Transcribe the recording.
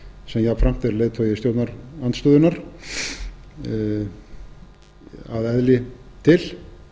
sem er jafnframt er leiðtogi stjórnarandstöðunnar að eðli til